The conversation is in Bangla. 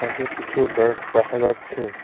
এখানে কিছু ব্যাগ দেখা যাচ্ছে।